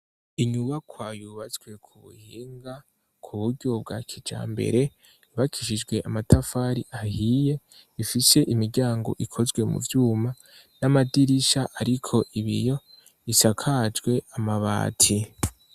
Inyubakwa yubatswe ku buhinga ku buryo bwa kijambere, yubakishijwe amatafari ahiye ifishe imiryango ikozwe mu vyuma n'amadirisha ariko ibiyo, isakajwe amabati.